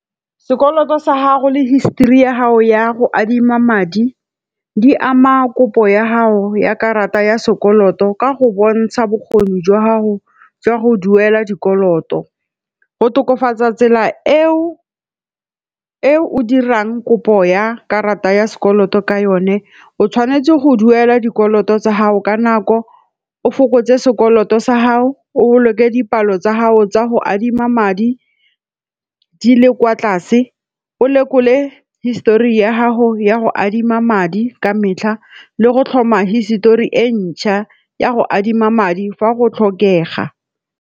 Sekoloto sa gago le histori ya gago ya go adima madi, di ama kopo ya gago ya karata ya sekoloto ka go bontsha bokgoni jwa gago jwa go duela dikoloto. Go tokafatsa tsela eo e o dirang kopo ya karata ya sekoloto ka yone o tshwanetse go duela dikoloto tsa gago ka nako, o fokotse sekoloto sa hao, o boloke dipalo tsa gago tsa go adima madi, di le kwa tlase o lekole histori ya gago ya go adima madi ka metlha le go tlhoma hisetori e ntšha ya go adima madi fa go tlhokega.